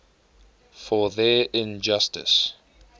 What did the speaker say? for their injustice